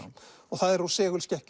það er úr